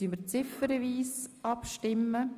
Wir stimmen ziffernweise ab.